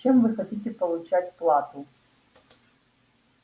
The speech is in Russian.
чем вы хотите получать плату